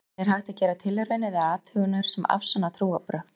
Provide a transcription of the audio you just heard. en er hægt að gera tilraunir eða athuganir sem afsanna trúarbrögð